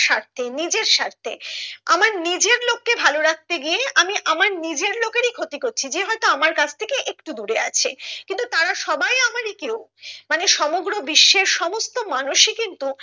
স্বার্থে নিজের স্বার্থে আমার নিজের লোককে ভালো রাখতে গিয়ে আমি আমার নিজের লোকেরই ক্ষতি করছি যে হয়তো আমরা কাছ থেকে একটু দূরে আছে কিন্তু তারা সবাই আমারি কেউ মানে সমগ্র বিশ্বের সমস্ত মানুষই কিন্তু